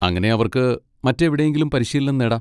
അങ്ങനെ അവർക്ക് മറ്റെവിടെയെങ്കിലും പരിശീലനം നേടാം.